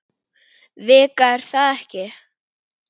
Vika er það ekki?